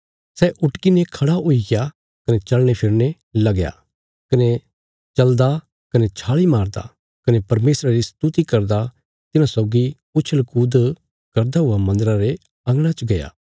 सै उटकी ने खड़ा हुईग्या कने चलनेफिरने लगया कने चलदा कने छालीं मारदा कने परमेशरा री स्तुति करदा तिन्हां सौगी उछल़ कूद करदा हुआ मन्दरा रे अंगणा च गया